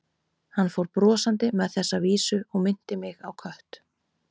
Hann fór brosandi með þessa vísu og minnti mig á kött.